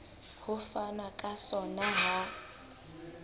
ho fanwa ka sona ha